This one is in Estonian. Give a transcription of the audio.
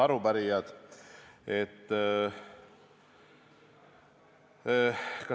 Head arupärijad!